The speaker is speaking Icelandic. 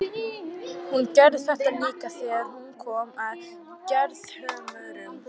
Hún gerði þetta líka þegar hún kom að Gerðhömrum.